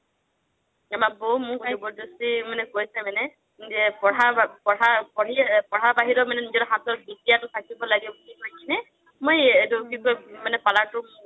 আমাৰ বৌ মোক জাবাদাশ্তি কৈছে মানে যে পঢ়া বাহিৰেও মানে নিজৰ হাতত থাকিব লাগে কৈ কিনে